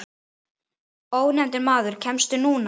Ónefndur maður: Kemstu núna?